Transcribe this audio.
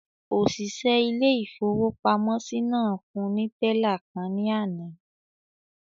Òṣìṣẹ́ ilé-ìfowópamọ́sí náà fún ní tẹ́là kan ní àná